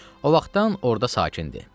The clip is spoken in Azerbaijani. O vaxtdan orda sakindi.